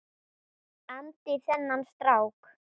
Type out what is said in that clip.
andi þennan strák.